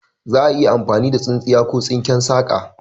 Za'a iya amfani da tsintsiya ko tsinken saka